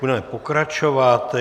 Budeme pokračovat.